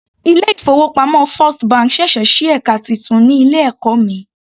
Ilé ìfowópamọ́ first bank sẹ̀sẹ̀ sí ẹka titun ní ilé ẹ̀kọ́ mi.